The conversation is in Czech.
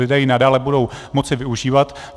Lidé ji nadále budou moci využívat.